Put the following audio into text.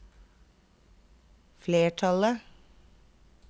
flertallet